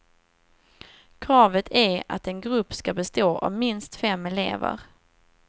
Kravet är att en grupp skall bestå av minst fem elever.